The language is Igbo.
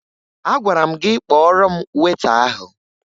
Agwara m gị kpọọrọ m weta ahụ!